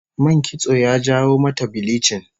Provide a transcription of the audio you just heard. Man kitso ya jawo mata bilichin